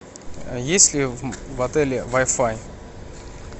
есть ли в отеле вай фай